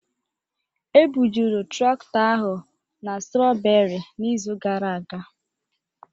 Ebujuru traktọ ahụ na strooberi n'izu gara aga.